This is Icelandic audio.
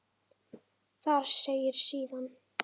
Þar segir síðan